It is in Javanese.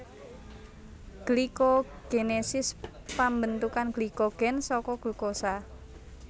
Glikogenesis pambentukan glikogen saka glukosa